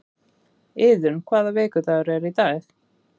Iðunn, hvaða vikudagur er í dag?